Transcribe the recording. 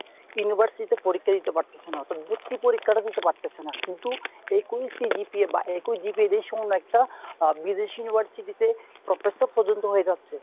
university তে পরীক্ষা দিতে পারতাছে না। অর্থাৎ ভর্তির পরীক্ষাটা দিতে পারতাছে না। কিন্তু একই CGPA বা একই GPA একটা বিদেশী university তে professor পযন্ত হয়ে যাচ্ছে।